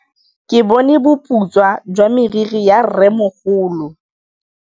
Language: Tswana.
Ke bone boputswa jwa meriri ya rrêmogolo.